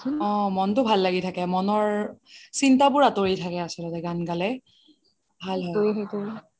অহ মনটো ভাল লাগি থাকে মনৰ চিন্তা বোৰ আতৰি থাকে আচ্লতে গান গালে ভাল হয়